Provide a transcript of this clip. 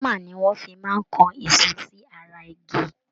Hámà ni wọ́n fi máa ń kan ìṣó sí ara igi